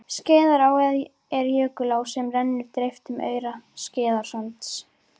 Skeiðará er jökulá sem rennur dreift um aura, Skeiðarársand.